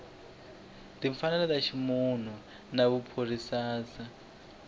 timfanelo ta ximunhu na vuphorisasa